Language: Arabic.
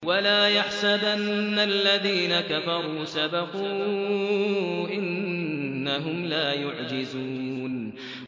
وَلَا يَحْسَبَنَّ الَّذِينَ كَفَرُوا سَبَقُوا ۚ إِنَّهُمْ لَا يُعْجِزُونَ